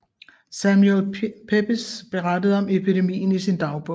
Samuel Pepys berettede om epidemien i sin dagbog